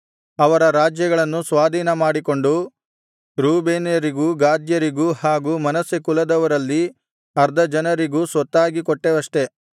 ಅವರ ರಾಜ್ಯಗಳನ್ನು ಸ್ವಾಧೀನಮಾಡಿಕೊಂಡು ರೂಬೇನ್ಯರಿಗೂ ಗಾದ್ಯರಿಗೂ ಹಾಗು ಮನಸ್ಸೆ ಕುಲದವರಲ್ಲಿ ಅರ್ಧಜನರಿಗೂ ಸ್ವತ್ತಾಗಿ ಕೊಟ್ಟೆವಷ್ಟೆ